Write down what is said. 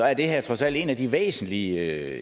er det her trods alt en af de væsentlige